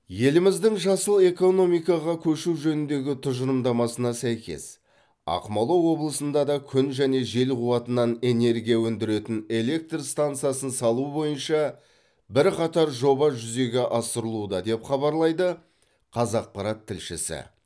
еліміздің жасыл экономикаға көшу жөніндегі тұжырымдамасына сәйкес ақмола облысында да күн және жел қуатынан энергия өндіретін электр стансасын салу бойынша бірқатар жоба жүзеге асырылуда деп хабарлайды қазақпарат тілшісі